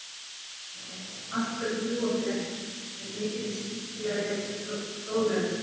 Hin spurningin, af hverju fljúga þeir ekki, er miklu skemmtilegri og fróðlegri!